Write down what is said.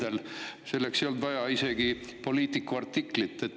Selle ei olnud vaja isegi Politico artiklit.